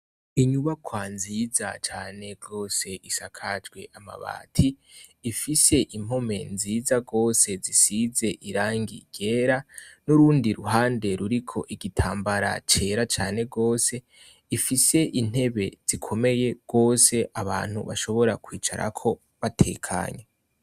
Inyubakwa nziza cane gose isakajwe amabati, ifise impome nziza gose zisize irangi ryera, nurundi iruhande ruriko ibitambara cera cane gose ifise intebe zikomeye gose, abantu bashobora kwicarako batekanye.